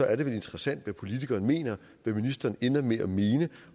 er det vel interessant hvad politikerne mener hvad ministeren ender med at mene